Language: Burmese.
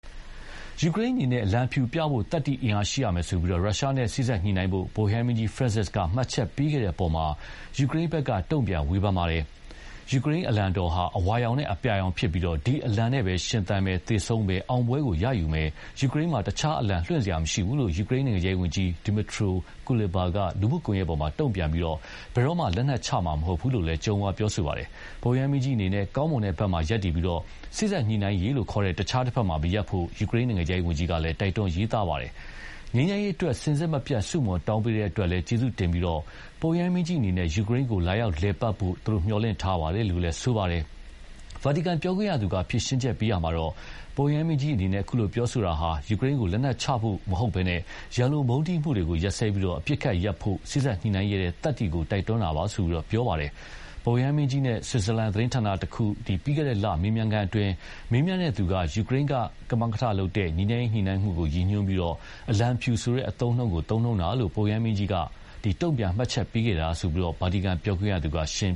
ယူကရိန်းအနေနဲ့ "အလံဖြူပြဖို့သတ္တိအင်အားရှိရမယ်" ဆိုပြီး ရုရှားနဲ့ စေ့စပ်ညှိနှိုင်းဖို့ ပုပ်ရဟန်းမင်းကြီး Francis က မှတ်ချက်ပေးခဲ့တဲ့အပေါ် ယူကရိန်းဘက်က တုံ့ပြန်ဝေဖန်ပါတယ်။ "ယူကရိန်းအလံတော်ဟာ အဝါရောင်နဲ့အပြာရောင်ဖြစ်ပြီး ဒီအလံနဲ့ပဲ ရှင်သန်မယ်၊ သေဆုံးမယ်၊ အောင်ပွဲရယူမယ်၊ ယူကရိန်းမှာ တခြားအလံ လွှင့်စရာမရှိဘူး"လို့ ယူကရိန်းနိုင်ငံခြားရေးဝန်ကြီး Dmytro Kuleba က လူမှုကွန်ရက် ပေါ်မှာ တုံ့ပြန်ခဲ့ပြီး "ဘယ်တော့မှ လက်နက်ချမှာမဟုတ်ဘူး" လို့ ကြုံးဝါးလိုက်တာပါ။ ပုပ်ရဟန်းမင်းကြီးအနေနဲ့ ကောင်းမွန်တဲ့ဘက်မှာ ရပ်တည်ပြီး စေ့စပ်ညှိနှိုင်းရေးလို့ခေါ်တဲ့ တခြားတဘက်မှာ မရပ်ဖို့လည်း ယူကရိန်းနိုင်ငံခြားရေးဝန်ကြီးက တိုက်တွန်းရေးသားပါတယ်။ "ငြိမ်းချမ်းရေးအတွက် စဉ်ဆက်မပြတ်ဆုမွန်တောင်းပေးတဲ့အတွက် ကျေးဇူးတင်ပြီး ပုပ်ရဟန်းမင်းကြီးအနေနဲ့ ယူကရိန်းကိုလာရောက်လည်ပတ်ဖို့ မျှော်လင့်ပါတယ်" လို့လည်း ဆိုပါတယ်။ ဗာတီကန် ပြောခွင့်ရသူကဖြေရှင်းရာမှာတော့ 'ပုပ်ရဟန်းမင်းကြီးအနေနဲ့ပြောဆိုမှုဟာ ယူကရိန်းတို့ လက်နက်ချဖို့ဆိုတာ မဟုတ်ဘဲ ရန်လိုမုန်းတီးမှုတွေကိုရပ်စဲပြီး အပစ်အခတ်ရပ်ဖို့ စေ့စပ်ညှိနှိုင်းရဲတဲ့ သတ္တိကို တိုက်တွန်းတာပါ' လို့ ဆိုပါတယ်။ ပုပ်ရဟန်းမင်းကြီးနဲ့ ဆွစ်ဇာလန်သတင်းဌာနတခုလို ပြီးခဲ့တဲ့လမေးမြန်းခန်းအတွင်း မေးမြန်းသူက ယူကရိန်းကမကထလုပ်တဲ့ ငြိမ်းချမ်းရေးညှိနှိုင်းမှုကိုရည်ညွှန်းပြီး အလံဖြူဆိုတဲ့ သုံးနှုန်းထားတာကို ပုပ်ရဟန်းမင်းကြီးက တုံ့ပြန်မှတ်ချက်ပေးခဲ့တာလို့ ဗာတီကန်ပြောခွင့်ရသူက ရှင်